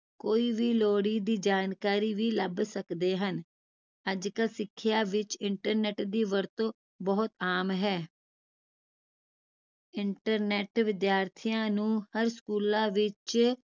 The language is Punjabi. ਕੋਈ ਵੀ ਲੋੜੀ ਦੀ ਜਾਣਕਾਰੀ ਵੀ ਲੱਭ ਸਕਦੇ ਹਨ ਅੱਜਕਲ ਸਿਖਿਆ ਵਿਚ internet ਦੀ ਵਰਤੋਂ ਬਹੁਤ ਆਮ ਹੈ internet ਵਿਦਿਆਰਥੀਆਂ ਨੂੰ ਹਰ ਸਕੂਲਾਂ ਵਿਚ